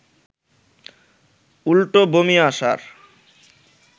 উল্টো বমি আসার